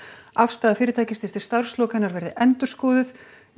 afstaða fyrirtækisins til verði endurskoðuð